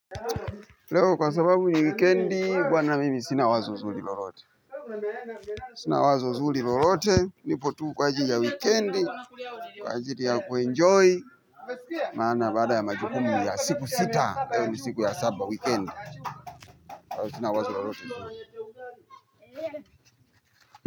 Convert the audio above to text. Leo kwa sababu ni wikendi bwana mimi sina wazo zuri lolote sina wazo zuli lolote nipo tu kwa ajili ya wikendi kwa ajili ya kuenjoy maana baada ya majukumu ya siku sita leo ni siku ya saba wikendi.